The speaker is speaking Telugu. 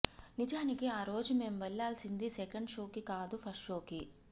నిజానికి ఆరోజు మేం వెళ్లాల్సింది సెకండ్ షోకి కాదు ఫస్ట్ షోకి